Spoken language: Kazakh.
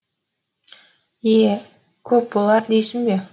е көп болар дейсің бе